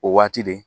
O waati de